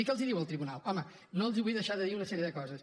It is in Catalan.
i què els diu el tribunal home no els vull deixar de dir una sèrie de coses